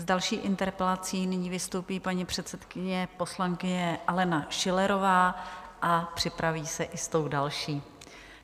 S další interpelací nyní vystoupí paní předsedkyně poslankyně Alena Schillerová a připraví se i s tou další.